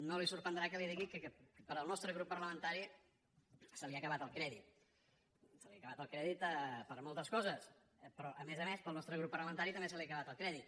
no li sorprendrà que li digui que pel nostre grup parlamentari se li ha acabat el crèdit se li ha acabat el crèdit per moltes coses però a més a més pel nostre grup parlamentari també se li ha acabat el crèdit